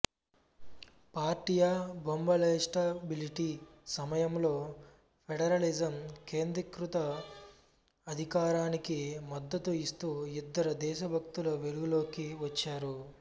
పార్టియా బొబలింస్టబిలిటీ సమయంలో ఫెడరలిజం కేంద్రీకృత అధికారానికి మద్దతు ఇస్తూ ఇద్దరు దేశభక్తులు వెలుగులోకి వచ్చారు